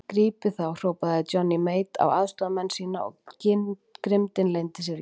Grípið þá hrópaði Johnny Mate á aðstoðarmenn sína og grimmdin leyndi sér ekki.